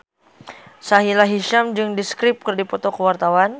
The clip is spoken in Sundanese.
Sahila Hisyam jeung The Script keur dipoto ku wartawan